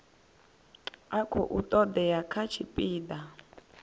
a khou todea kha tshipida